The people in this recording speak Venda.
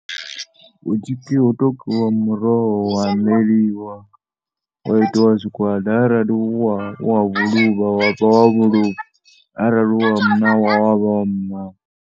Hu tshi pfhi hu tou kiwa muroho wa aneliwa wa itiwa zwigwada arali u wa vhuluvha wa vha wa vhuluvha, arali u wa muṋawa wa vha wa muṋawa.